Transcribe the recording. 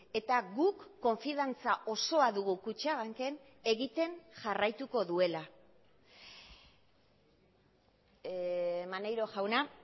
eta guk konfiantza osoa dugu kutxabanken egiten jarraituko duela maneiro jauna